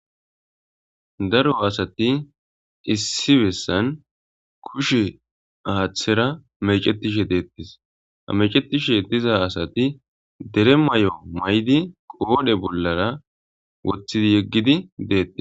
Daro asati issi bessan kushe aaththera mecetishe deettis hamecetishe diza asati dere may'o may'di qoodhe bollara woththidi yeggidi deetti.